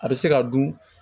A bɛ se ka dun